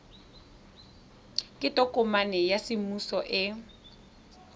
ke tokomane ya semmuso e